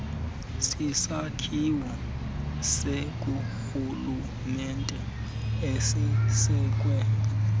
sisakhiwo sikarhulumente esisekwe